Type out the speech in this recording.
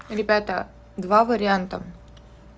ребята два варианта